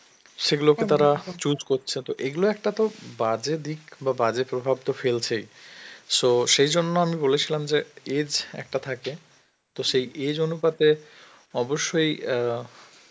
সেগুলোকে তারা choose করছে, তো এগুলো একটা তো বাজে দিক বা বাজে প্রভাব তো ফেলছেই, so সেই জন্য আমি বলেছিলাম যে age একটা থাকে, তো সেই age অনুপাতে অবশ্যই